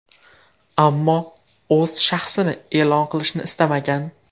Ammo o‘z shaxsini e’lon qilishni istamagan.